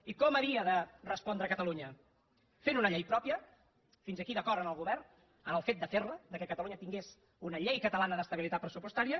i com havia de respondre catalunya fent una llei pròpia fins aquí d’acord amb el govern en el fet de fer la que catalunya tingués una llei catalana d’estabilitat pressupostària